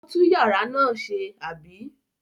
Ó tú ìyàrá náà ṣe, àbí?